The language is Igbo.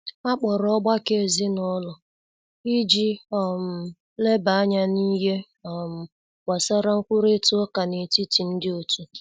Akpọrọ ọgbakọ ezinụlọ iji um leba anya n'ihe um gbasara nkwurita uká n'etiti ndi otu.